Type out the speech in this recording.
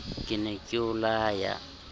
ke ne ke o laya